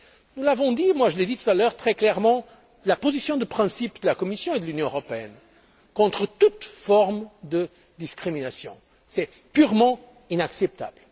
Nous l'avons dit moi je l'ai dit tout à l'heure très clairement la position de principe de la Commission et de l'Union européenne est de s'opposer à toute forme de discrimination. C'est purement inacceptable.